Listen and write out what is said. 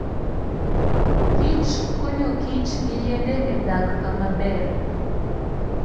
kich konyokich gi yiende e dak kama ber.